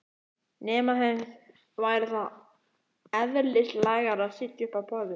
Nema þeim væri það eðlislægara að sitja uppi á borðum?